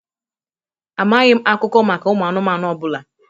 Amaghị m akụkọ maka ụmụ anụmanụ ọ bụla.